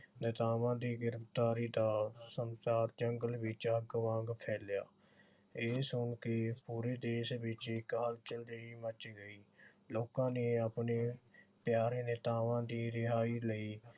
ਨੇਤਾਵਾਂ ਦੀ ਗ੍ਰਿਫਤਾਰੀ ਦਾ ਸਮਾਚਾਰ ਜੰਗਲ ਵਿਚ ਅੱਗ ਵਾਂਗ ਫੈਲਿਆ। ਇਹ ਸੁਣ ਕੇ ਪੂਰੇ ਦੇਸ਼ ਵਿਚ ਹਲਚਲ ਜਿਹੀ ਮੱਚ ਗਈ। ਲੋਕਾਂ ਨੇ ਆਪਣੇ ਪਿਆਰੇ ਨੇਤਾਵਾਂ ਦੀ ਰਿਹਾਈ ਲਈ